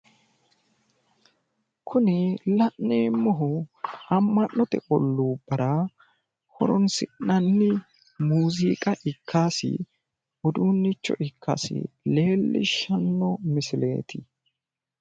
Kuni la'neemmohu amma'note olluubbara horonsi'nanni muuziiqa ikkasi uduunnicho ikkasi leellishshanno misileeti.